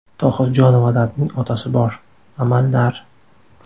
Tohirjonovalarning otasi bor, amallar.